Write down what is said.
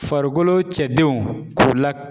Farikolo cɛdenw k'u la